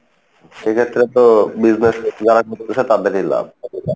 সেক্ষেত্রে তো business যারা করতেসে তাদেরই লাভ,